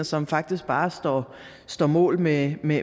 som faktisk bare står står mål med med